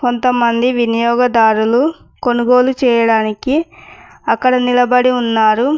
కొంతమంది వినియోగదారులు కొనుగోలు చేయడానికి అక్కడ నిలబడి ఉన్నారు.